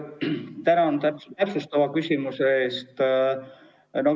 Tänan täpsustava küsimuse eest!